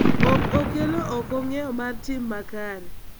ok okelo oko ng�eyo mar tim makare.